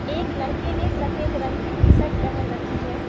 एक लड़के ने सफेद रंग की टी शर्ट पहन रखी है।